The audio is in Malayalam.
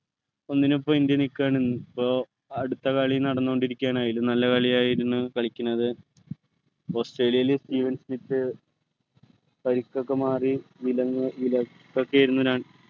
ഒന്നിനൊപ്പം ഇന്ത്യ നിൽക്കുകയാണ് ഇപ്പോ അടുത്ത കളി നടന്നുകൊണ്ടിരിക്കുകയാണ് അയില് നല്ല കളിയായിരുന്നു കളിക്കുന്നത് ഓസ്ട്രേലിയയിലെ സ്മിത്ത് പരിക്ക് ഒക്കെ മാറി